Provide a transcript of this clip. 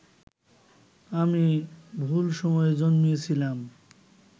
আমি ভুল সময়ে জন্মেছিলাম